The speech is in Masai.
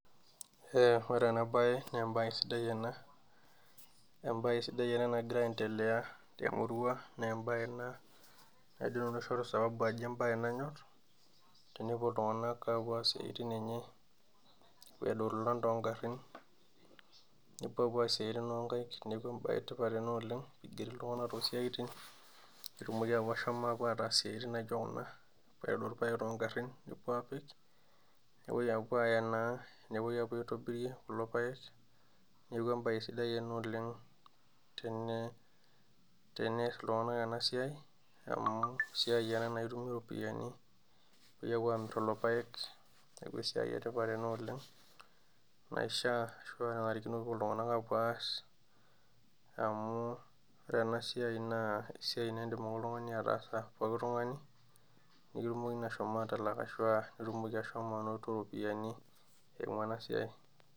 Ee ore ena bae naa embae esidai ena embae sidai ena nagira aendelea temurua naa embae ena naidim nanu aishoru sababu ajo embae nanyorr, tenepuo iltunganak apuo aas esiai enye aitadou ilolan toogarin, napuo apuo aas isiatin oonkaik. Neeku embae etipat ena oleng' tenigeri Iltunganak tosiatin, petum ashom ataas isiatin naijo kuna aitadou ilpayek toogarin nepuo aapik, nepoi apuo aaya naa nepoi aitobirie kulo payek, neeku embae sidai ena teneas Iltunganak ena siai amu esiai ena naa itumie iropiyiani, nintokiki apuo aamir lelo payek. Neeku esiai etipat ena naishaa ashu enanarikino peepuo Iltunganak apuo aas amu ore ena siai naa esiai nidim ake ataasa pookin tungani, nikitumokini ashom atalak iropiyiani eimu enasiai.